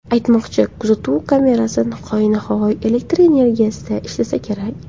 Aytmoqchi, kuzatuv kamerasi hoynahoy elektr energiyasida ishlasa kerak.